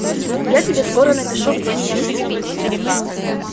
я тебе скоро напишу где меня найти